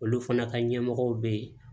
Olu fana ka ɲɛmɔgɔw bɛ ye